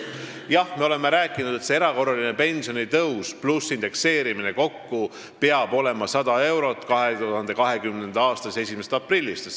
Jah, me oleme rääkinud, et see erakorraline pensionitõus pluss indekseerimine peab 2020. aasta 1. aprillist tähendama tõusu 100 eurot.